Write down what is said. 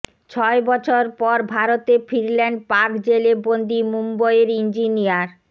ছয় বছর পর ভারতে ফিরলেন পাক জেলে বন্দি মুম্বইয়ের ইঞ্জিনিয়ার